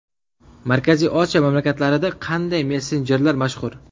Markaziy Osiyo mamlakatlarida qanday messenjerlar mashhur?.